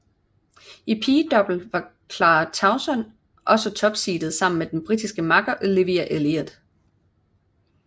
I pigedouble var Clara Tauson også topseedet sammen med den britiske makker Olivia Elliot